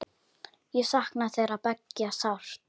Ég sakna þeirra beggja sárt.